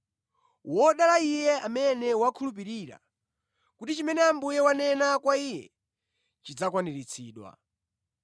Wodala iye amene wakhulupirira kuti chimene Ambuye wanena kwa iye chidzakwaniritsidwa!”